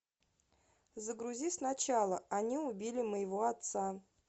загрузи сначала они убили моего отца